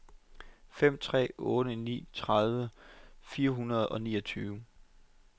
fem tre otte ni tredive fire hundrede og niogtyve